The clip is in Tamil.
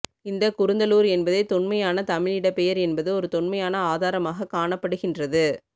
இந்த குருந்தலூர் என்பதே தொன்மைமையான தமிழ் இடப்பெயர் என்பது ஒரு தொன்மையான ஆதாரமாக காணப்படுகின்றது